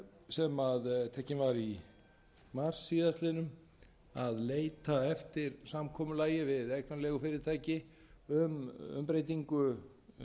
sem tekin var í mars síðastliðnum að leita eftir samkomulagi við eignarleigufyrirtæki um umbreytingu